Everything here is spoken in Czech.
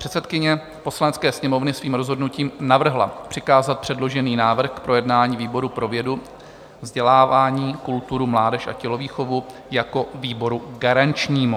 Předsedkyně Poslanecké sněmovny svým rozhodnutím navrhla přikázat předložený návrh k projednání výboru pro vědu, vzdělávání, kulturu, mládež a tělovýchovu jako výboru garančnímu.